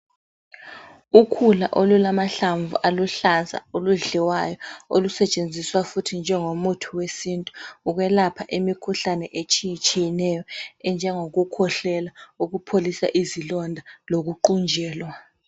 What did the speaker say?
Ukhula olulamahlamvu aluhlaza oludliwayo olusetshenziswa futhi njengomuthi wesintu ukwelapha imikhuhlane etshiyetshiyeneyo enjengokukhwehlela, ukupholisa izilonda lokuqunjelwa.